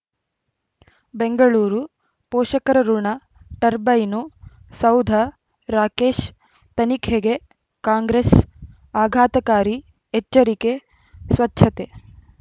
ಬೆಂಗಳೂರು ಪೋಷಕರಋಣ ಟರ್ಬೈನು ಸೌಧ ರಾಕೇಶ್ ತನಿಖೆಗೆ ಕಾಂಗ್ರೆಸ್ ಆಘಾತಕಾರಿ ಎಚ್ಚರಿಕೆ ಸ್ವಚ್ಛತೆ